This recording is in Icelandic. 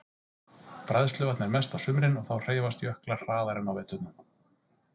Bræðsluvatn er mest á sumrin og þá hreyfast jöklar hraðar en á veturna.